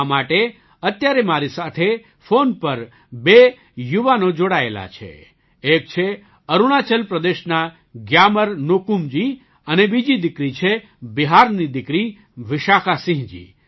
આ માટે અત્યારે મારી સાથે ફૉન પર બે યુવાનો જોડાયેલા છે એક છે અરુણાચલ પ્રદેશના ગ્યામર ન્યોકુમજી અને બીજી દીકરી છે બિહારની દીકરી વિશાખાસિંહજી